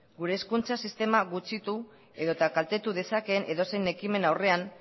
gure hezkuntza sistema gutxitu edota kaltetu dezakeen edozein ekimen aurrean